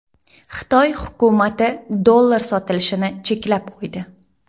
Xitoy hukumati dollar sotilishini cheklab qo‘ydi.